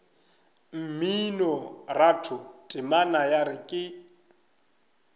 mminoratho temana ya re ka